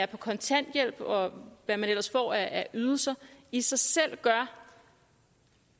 kontanthjælp og hvad man ellers får af ydelser i sig selv gør